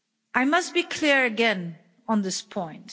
I must be clear again on this point.